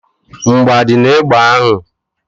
Mgbọ adị n'egbe ahụ?